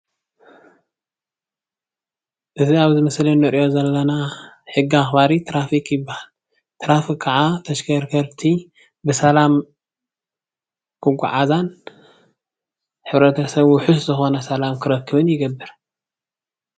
እዚ ኣብ እዚ ምስሊ እንሪኣ ዘለና ሕጊ ኣኽባሪ ትራፊክ ይብሃል። ትራፊክ ከዓ ተሽከርከርቲ ብሰላም ክጉዓዛን ሕብረተሰብ ዉሑስ ዝኾነ ሰላም ክረክብን ይገብር።